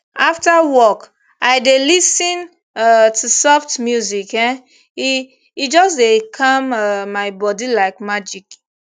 after work i dey lis ten um to soft music um e e just dey calm um my body like magic